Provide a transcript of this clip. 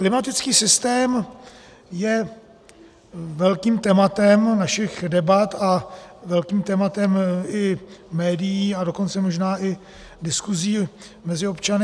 Klimatický systém je velkým tématem našich debat a velkým tématem i médií, a dokonce možná i diskuzí mezi občany.